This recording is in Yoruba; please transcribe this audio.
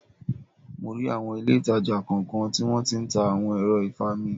Mo rí awọn ilé ìtàjà kọ̀ọ̀kan tí wón tí ń ta awon ẹ̀rọ ìfami.